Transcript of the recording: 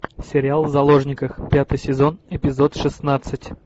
сериал в заложниках пятый сезон эпизод шестнадцать